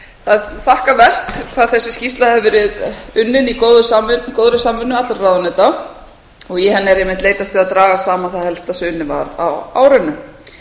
það er þakkarvert hvað þessi skýrsla hefur verið unnin í góðri samvinnu allra ráðuneyta í henni er einmitt leitast við að draga saman það helsta sem unnið var á árinu